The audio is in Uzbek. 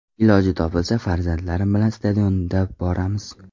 Iloji topilsa, farzandlarim bilan stadionda boramiz.